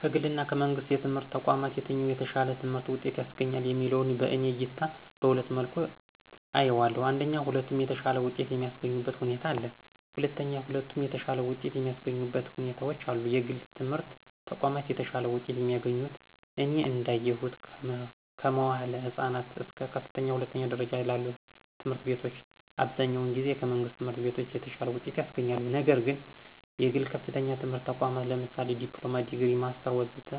ከግል ወይም ከመንግሥት የትምህርት ተቋማት የትኛው የተሻለ የትምህርት ውጤት ያስገኛል የሚለው በእኔ እይታ በሁለት መልኩ አየዋለሁ አንደኛ ሁለቱም የተሻለ ውጤት የሚስገኙበት ሁኔታ አለ። ሁለተኛ ሁለቱም የተሻለ ውጤት የማያሰገኙበት ሁኔታዎች አሉ። የግል የትምህረት ተቋማት የተሻለ ውጤት የሚያስገኙት እኔ እዳየሁት ከመዋዕለ ህፃናት እስከ ከፍተኛ ሁለተኛ ደረጃ ላሉ ትምህርት ቤቶች አብዛኛውን ጊዜ ከመንግሥት ትምህርት ቤቶች የተሻለ ውጤት ያስገኛሉ። ነግር ግን የግል ከፍተኛ የትምህርት ተቋማት ለምሳሌ ዲፕሎማ፣ ዲግሪ፣ ማስተር ወዘተ